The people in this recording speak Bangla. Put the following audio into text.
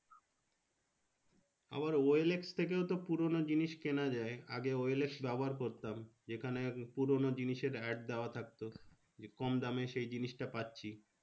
আবার ও এল এক্স থেকেও তো পুরোনো জিনিস কেনা যায়। আগে ও এল এক্স ব্যবহার করতাম। যেখানে পুরোনো জিনিসের add দেওয়া থাকতো। কম দামে সেই জিনিসটা পাচ্ছি।